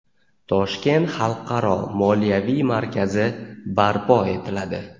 Toshkent xalqaro moliyaviy markazi barpo etiladi.